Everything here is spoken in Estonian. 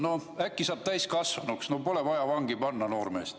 No äkki saab täiskasvanuks, pole vaja noormeest vangi panna.